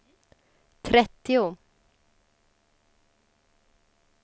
trettio